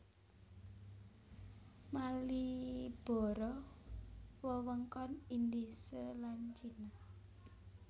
Maliboro wewengkon Indhise lan Cina